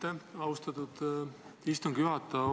Aitäh, austatud istungi juhataja!